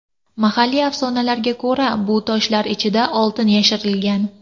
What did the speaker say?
Mahalliy afsonalarga ko‘ra, bu toshlar ichiga oltin yashirilgan.